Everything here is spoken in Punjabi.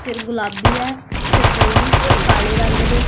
ਫਿਰ ਗੁਲਾਬੀ ਆ ਸ਼ਰਦਈ ਕਾਲੇ ਰੰਗ ਦੇ --